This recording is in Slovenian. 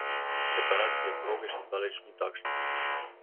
Preparacija proge še zdaleč ni takšna.